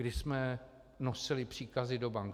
Kdy jsme nosili příkazy do bank?